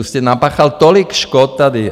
Už jste napáchal tolik škod tady.